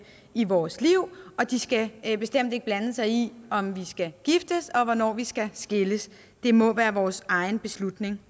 i vores liv og den skal bestemt ikke blande sig i om vi skal giftes og hvornår vi skal skilles det må være vores egen beslutning